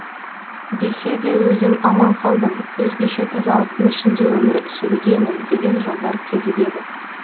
десе де өзім аман қалдым өзгеше тазалықтың ішінде өмір сүрудемін деген жолдар кезігеді